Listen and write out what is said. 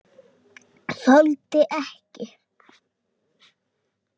Þoldi ekki.